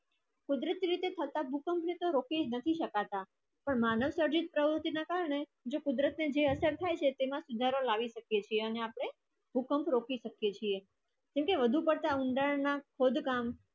કુદરત થી થટા ધરતીકંપ ને તો રોકી નથી સકતા પણ માનવ પ્રજાિત પ્રવુતિ ના કરને જે કુદરત ને અસર થાય છે તેમા સુધારો લાવી સકે છે આને આપડે ભૂકંપ રોકી સકયે કેમ કે વધારે પડતા ઉંડાલા ના ખોડ કામ